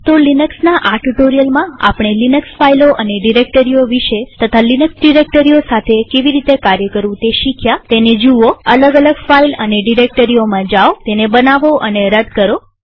તો લિનક્સના આ ટ્યુ્ટોરીઅલમાં આપણે લિનક્સ ફાઈલો અને ડિરેક્ટરીઓ વિષે તથા લિનક્સ ડિરેક્ટરીઓ સાથે કેવી રીતે કાર્ય કરવું તે શીખ્યાતેને જુઓઅલગ અલગ ફાઈલ અને ડિરેક્ટરીઓમાં જાઓતેને બનાવોતેને રદ કરો